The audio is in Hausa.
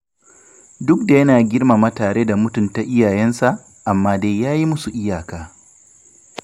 Duk da yana girmama tare da mutunta iyayensa, amma dai ya yi musu iyaka.